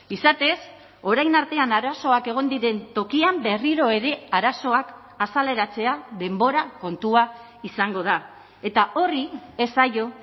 izatez orain artean arazoak egon diren tokian berriro ere arazoak azaleratzea denbora kontua izango da eta horri ez zaio